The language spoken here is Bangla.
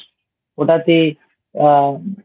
ওটা তে আ